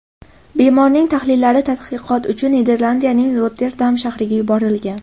Bemorning tahlillari tadqiqot uchun Niderlandiyaing Rotterdam shahriga yuborilgan.